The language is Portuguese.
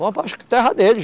Vão para acho que terra deles.